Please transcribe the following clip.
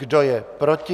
Kdo je proti?